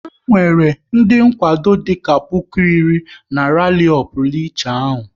Ha nwere ndị nkwado dịka puku iri na rali ọ pụrụ iche ahụ